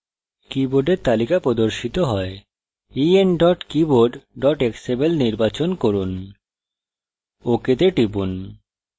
কীবোর্ডের তালিকা প্রদর্শিত হয় en keyboard xml নির্বাচন করুন ok the টিপুন